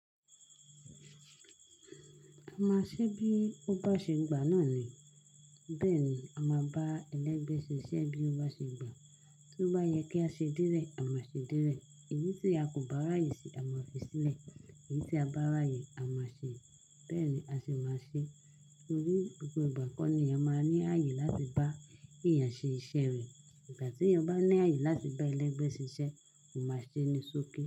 A máa ṣe bí ó bá ṣe gbà náà ni. Bẹ́ẹ̀ ni a máa bá ẹlẹ́gbẹ́ ṣe iṣẹ́ bí ó bá ṣe gbà. Tí ó bá yẹ kí a ṣe délé, a máa ṣe délé. Èyí tí a kò bá ráyè ṣe, a máa fi sílẹ̀. Èyí tí a bá ráyè, a máa ṣe é. Bẹ́ẹ̀ni a ṣe máa ṣe. Nítorí gbogbo ìgbà kọ́ ni a máa ní àyè láti bá èèyàn ṣe iṣẹ́ rẹ̀. Ìgbà tí ọ bá ní àyè láti bá ẹlẹ́gbẹ́ ṣe iṣẹ́, ó máa ṣe é ní sókí.